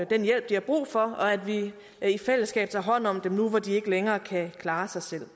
den hjælp de har brug for og at vi i fællesskab tager hånd om dem nu hvor de ikke længere kan klare sig selv det